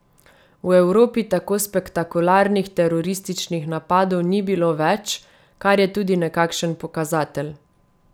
V Evropi tako spektakularnih terorističnih napadov ni bilo več, kar je tudi nekakšen pokazatelj.